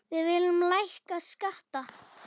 Við viljum lækka skatta.